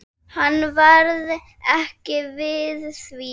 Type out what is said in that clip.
Hann varð ekki við því.